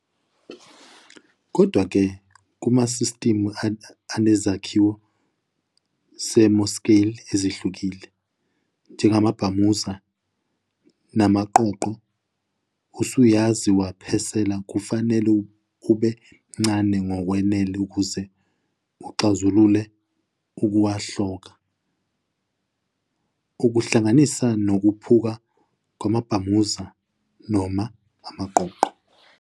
Kodwa-ke, kumasistimu anezakhiwo ze-mesoscale ezihlukile, njengamabhamuza namaqoqo, usayizi wephasela kufanele ube mncane ngokwanele ukuze uxazulule ukuwohloka, ukuhlanganisa, nokuphuka kwamabhamuza noma amaqoqo.